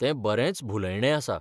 तें बरेंच भुलयणें आसा.